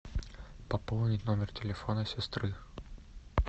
пополнить номер телефона сестры